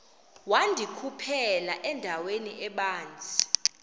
wandikhuphela endaweni ebanzi